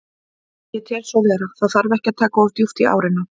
Ég tel svo vera, það þarf ekki að taka of djúpt í árina.